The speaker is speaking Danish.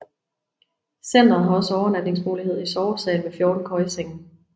Centret har også overnatningsmulighed i sovesal med 14 køjesenge